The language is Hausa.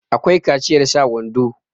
akwai kaciyar sa wando